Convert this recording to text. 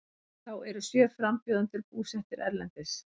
Þá eru sjö frambjóðendur búsettir erlendis